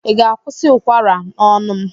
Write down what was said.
Ị ga-akwụsị ụkwara n'ọnụ m!